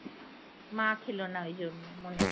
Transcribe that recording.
মা ছিলোনা ওই জন্য মনে ছিল